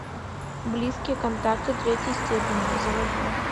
близкие контакты третьей степени заводи